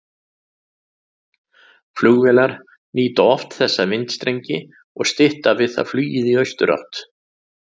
Flugvélar nýta oft þessa vindstrengi og stytta við það flugið í austurátt.